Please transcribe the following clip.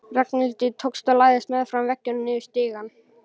Ragnhildi tókst að læðast meðfram veggnum niður stigann.